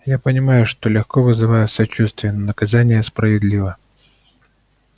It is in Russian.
я понимаю что легко вызываю сочувствие но наказание справедливо